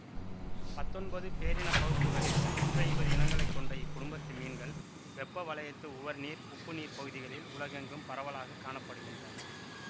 பத்தொன்பது பேரினப் பகுப்புக்களில் நூற்றைம்பது இனங்களைக் கொண்ட இக்குடும்பத்து மீன்கள் வெப்பவலயத்து உவர்நீர் உப்புநீர்ப் பகுதிகளில் உலகெங்கும் பரவலாக காண படுகின்றன